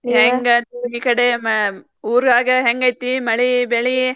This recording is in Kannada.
ಹೆಂಗ್ ಈಕಡೆ ಅಹ್ ಊರಾಗ ಹೆಂಗ್ ಐತಿ ಮಳಿ ಬೆಳಿ?